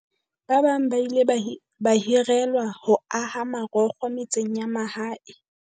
Ba bang ba ile ba hirelwa ho aha marokgo metseng ya mahae.